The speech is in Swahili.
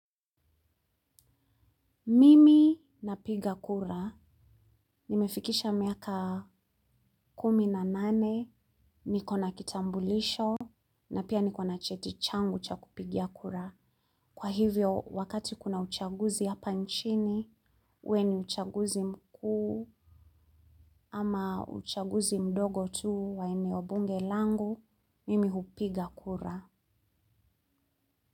Mimi napiga kura, nimefikisha miaka kumi na nane, niko na kitambulisho, na pia niko na cheti changu cha kupigia kura. Kwa hivyo, wakati kuna uchaguzi hapa nchini, uwe ni uchaguzi mkuu, ama uchaguzi mdogo tu wa eneo bunge langu, mimi hupiga kura.